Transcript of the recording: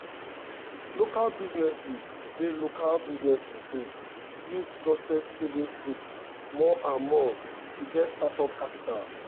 local businesses dey local businesses dey use trusted savings groups more and more to get startup capital.